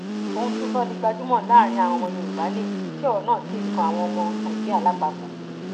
ohun tó sọ ọ di gbajúmọ láàrin àwọn ọmọ yorùbá nìyí tí ọrọ náà sì kan àwọn ọmọ nàìjíríà lápapọ